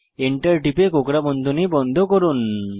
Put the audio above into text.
enter টিপে কোঁকড়া বন্ধনী বন্ধ করুন